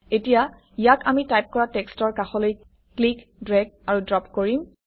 এতিয়া ইয়াক আমি টাইপ কৰা টেক্সটৰ কাষলৈ ক্লিক ড্ৰেগ আৰু ড্ৰপ কৰিম